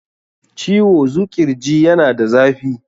Ciwo zuƙirji yana da zafi.